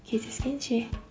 кездескенше